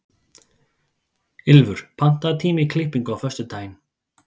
Ylfur, pantaðu tíma í klippingu á föstudaginn.